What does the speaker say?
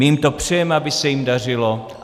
My jim to přejeme, aby se jim dařilo.